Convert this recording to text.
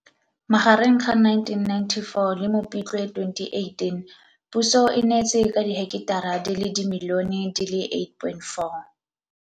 Magareng ga 1994 le Mopitlwe 2018 puso e neetse ka diheketara di le dimilione di le 8,4.